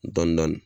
Dɔni dɔni